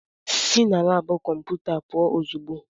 Sị na laabụ kọmputa pụọ ozugbo!